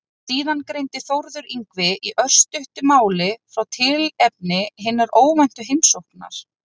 Síðan greindi Þórður Yngvi í örstuttu máli frá tilefni hinnar óvæntu heimsóknar.